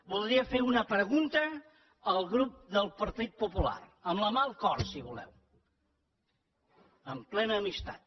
voldria fer una pregunta al grup del partit popular amb la mà al cor si voleu amb plena amistat